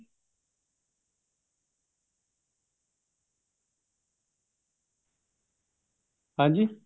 ਹਾਂਜੀ